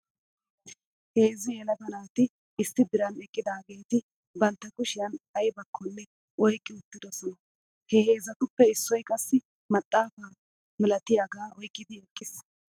Heezzu yelaga naati issi diran eqqidaageeti bantta kushiyan aybakkonne oyqqi uttidosona. He heezzatuppe issoy qassi maxaafa malatiyaagaa oyqqidi eqqis .